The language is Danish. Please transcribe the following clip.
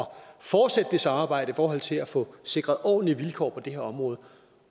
fortsætte det samarbejde i forhold til at få sikret ordentlige vilkår på det her område